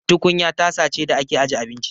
Tukunya tasa ce da ake aje abinci.